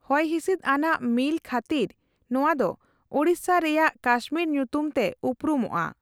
ᱦᱚᱭᱦᱤᱸᱥᱤᱫ ᱟᱱᱟᱜ ᱢᱤᱞ ᱠᱷᱟᱹᱛᱤᱨ ᱱᱚᱣᱟ ᱫᱚ ᱳᱲᱤᱥᱟ ᱨᱮᱭᱟᱱ ᱠᱟᱥᱢᱤᱨ ᱧᱩᱛᱩᱢ ᱛᱮ ᱩᱨᱩᱢᱚᱜᱼᱟ ᱾